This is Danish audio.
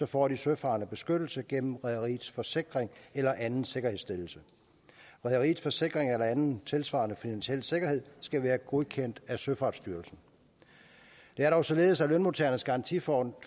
får de søfarende beskyttelse gennem rederiets forsikring eller anden sikkerhedsstillelse rederiets forsikring eller anden tilsvarende finansiel sikkerhed skal være godkendt af søfartsstyrelsen det er dog således at lønmodtagernes garantifond